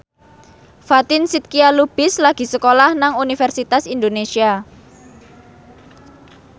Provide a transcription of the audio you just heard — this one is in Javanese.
Fatin Shidqia Lubis lagi sekolah nang Universitas Indonesia